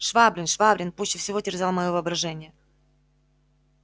швабрин швабрин пуще всего терзал моё воображение